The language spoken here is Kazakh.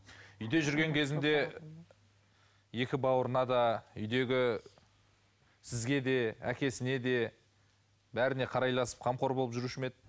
үйде жүрген кезінде екі бауырына да үйдегі сізге де әкесіне де бәріне қарайласып қамқор болып жүруші ме еді